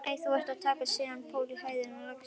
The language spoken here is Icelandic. Nei, þú ert að taka skakkan pól í hæðina, lagsi.